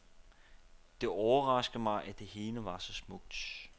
Det overraskede mig, at det hele var så smukt.